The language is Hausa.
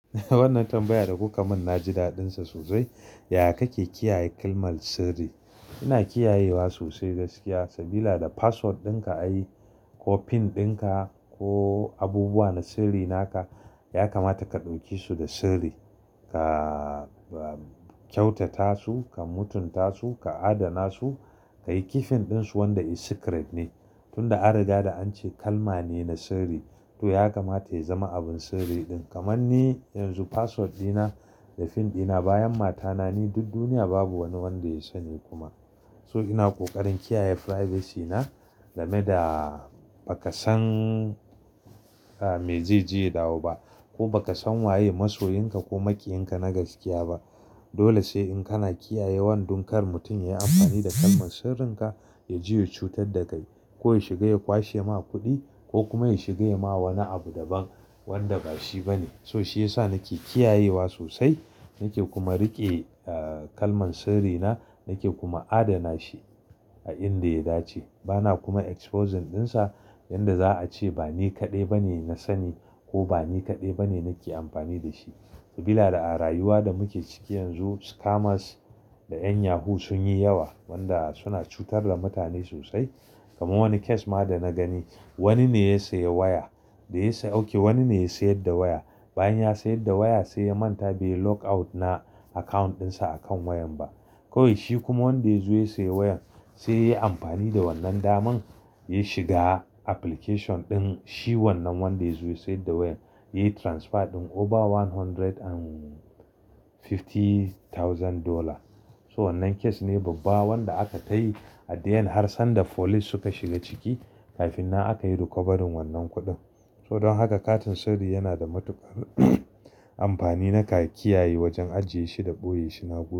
Wannan tambayar da kuka mun na ji daɗin sa sosai. Yaya kake kiyaye kalmar sirri? Ina kiyayewa sosai gaskiya, sabida password ɗin ka a yi ko pin ɗin ka ko abubuwa na sirri na ka, ya kamata ka ɗauke su da sirri. Ka kyautata su, ka mutunta su, ka adana su, ka yi kifin ɗin su wanda secret ne. Tun da an riga da an ce kalma ne na sirri to ya kamata ya zama abin sirri ɗin. Kaman ni yanzu password ɗina da pin ɗina bayan matana ni duk duniya babu wani wanda ya sani kuma. So ina ƙoƙarin kiyaye privacy na game da ba ka san me zai jiye da wa ba, ko ba ka san waye masoyinka ko maƙiyin ka na gaskiya ba. Dole sai in kana kiyaye wanda kar mutum ya yi amfani da kalman sirrin ka, ya jiyo cutar da kai. Ko ya shiga ya kwashe ma kuɗi ko kuma ya shiga ya ma wani abu daban wanda ba shi ba ne. So shi yasa nake kiyayewa sosai, nake kuma riƙe kalman sirri na, nake kuma adana shi a inda ya dace. Bana kuma exposing ɗin sa yanda za a ce ba ni kaɗai ba ne na sani ko ba ni kaɗai ba ne nake amfani da shi. Sabida a rayuwa da muke ciki yanzu scammers da ƴan yahoo sun yi yawa wanda suna cutar da mutane sosai. Kaman wani case ma da na gani, wani ne ya sayi waya da ya sauke, wani ne ya siyar da waya. Bayan ya siyar da waya sai ya manta bai log out na account ɗin sa a kan wayan ba. Kawai shi kuma wanda ya siyo wayan, sai ya yi amfani da wannan daman, ya shiga application ɗin. Shi wannan wanda ya siyo da wayar, ya yi transfer ɗin over one hundred and fifty thousand dollar. So wannan case ne babba wanda aka tayi a diyan har sanda police suka shiga ciki kafin na aka yi recovery wannan kuɗin. So don haka katin sirri yana da matuƙar amfani naka ka kiyaye wajen ajiye shi da ɓoye shi Nagode.